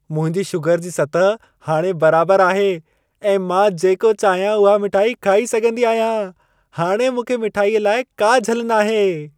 मुंहिंजी शुगर जी सतह हाणे बराबर आहे ऐं मां जेका चाहियां उहा मिठाई खाई सघंदी आहियां। हाणे मूंखे मिठाईअ लाइ का झल नाहे।